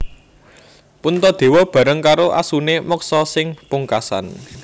Puntadewa bareng karo asune moksa sing pungkasan